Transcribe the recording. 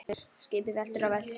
UNNUR: Skipið veltur og veltur.